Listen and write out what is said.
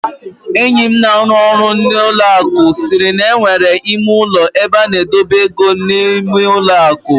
Enyi m na-arụ ọrụ n'ụlọ akụ siiri na e nwere ime ụlọ ebe a na-edobe ego n'ime ụlọ akụ.